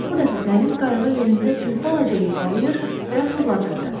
Ancaq bu dəfə dəniz qayığı yerində bir balaca yırğalayır və fırladırdı.